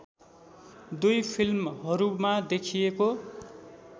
दुई फिल्महरूमा देखिएको